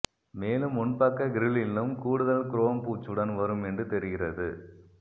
மேலும் முன்பக்க கிரில்லிலும் கூடுதல் குரோம் பூச்சுடன் வரும் என்று தெரிகிறது